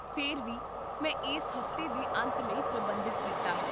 ਫਿਰ ਵੀ, ਮੈਂ ਇਸ ਹਫ਼ਤੇ ਦੇ ਅੰਤ ਲਈ ਪ੍ਰਬੰਧਿਤ ਕੀਤਾ ਹੈ